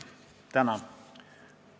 Tänan!